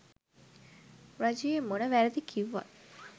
රජයේ මොන වැරදි කිව්වත්